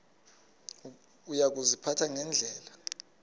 uya kuziphatha ngendlela